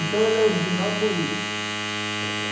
Então ele é original por isso, está certo?